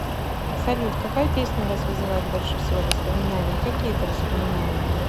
салют какая песня у вас вызывает больше всего воспоминаний и какие это воспоминания